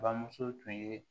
Bamuso tun ye